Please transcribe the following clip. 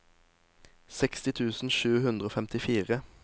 seksti tusen sju hundre og femtifire